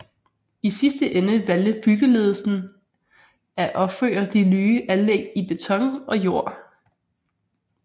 I sidste ende valgte byggeledelsen af opføre de nye anlæg i beton og jord